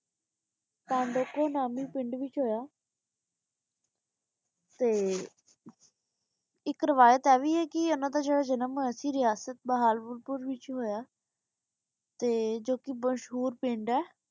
ਕੰਦੋਕੋ ਨਾਮੀ ਪਿੰਡ ਵਿਚ ਹੋਯਾ ਤੇ ਏਇਕ ਰਵਾਯਤ ਆ ਵੀ ਆਯ ਕੀ ਓਨਾਂ ਦਾ ਜੇਰਾ ਜਨਮ ਹੋਯਾ ਸੀ ਰਿਆਸਤ ਬਹਾਵਲਪੁਰ ਵਿਚ ਹੋਯਾ ਤੇ ਜੋ ਕੇ ਮਸ਼ਹੂਰ ਪਿੰਡ ਆਯ